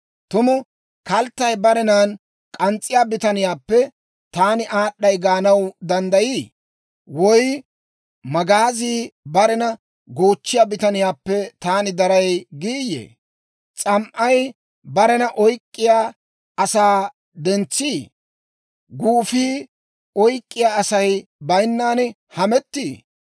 Tumu kalttay barenan k'ans's'iyaa bitaniyaappe, «Taani aad'd'ay» gaanaw danddayiiyye? Woy magaazii barena goochchiyaa bitaniyaappe, «Taani daray» giiyye? S'am"ay barena oyk'k'iyaa asaa dentsii? Guufii oyk'k'iyaa Asay baynan hametii?